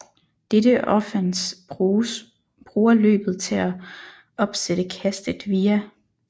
Dette offense bruger løbet til at opsætte kastet via